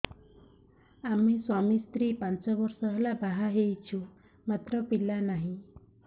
ଆମେ ସ୍ୱାମୀ ସ୍ତ୍ରୀ ପାଞ୍ଚ ବର୍ଷ ହେଲା ବାହା ହେଇଛୁ ମାତ୍ର ପିଲା ନାହିଁ